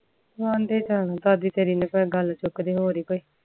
ਦਾਦੀ ਤੇਰੇ ਨੇ ਗੱਲ ਚੁੱਕਦੇ ਹੋਰ ਏ ਕੋਈ